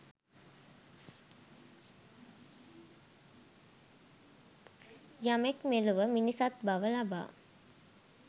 යමෙක් මෙලොව මිනිසත් බව ලබා